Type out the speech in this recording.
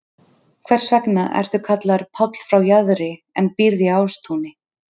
Hvers vegna ertu kallaður Páll frá Jaðri en býrð í Ástúni?